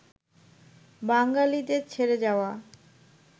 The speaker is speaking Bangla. বাঙালিদের ছেড়ে যাওয়া